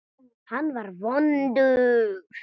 Hann var vondur.